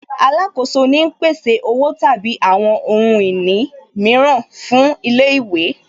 Alákoso ni ń pèsè Owó tàbí àwọn ohun ìní mìíràn fún ilé ìwé